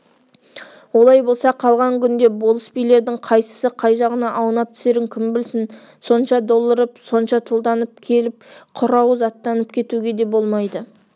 олай бола қалған күнде болыс билердің қайсысы қай жағына аунап түсерін кім білсін сонша долырып сонша тұлданып келіп құр ауыз аттанып кетуге де болмайды